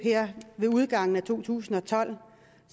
ved udgangen af to tusind og tolv